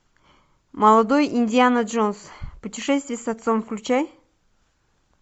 молодой индиана джонс путешествие с отцом включай